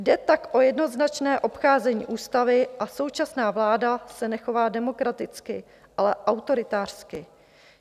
Jde tak o jednoznačné obcházení ústavy a současná vláda se nechová demokraticky, ale autoritářsky.